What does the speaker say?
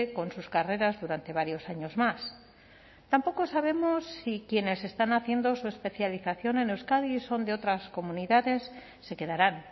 con sus carreras durante varios años más tampoco sabemos si quienes están haciendo su especialización en euskadi y son de otras comunidades se quedarán